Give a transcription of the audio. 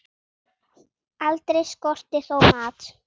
Aldrei skorti þó mat.